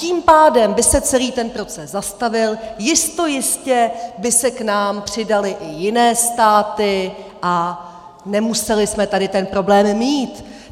Tím pádem by se celý ten proces zastavil, jistojistě by se k nám přidaly i jiné státy a nemuseli jsme tady ten problém mít.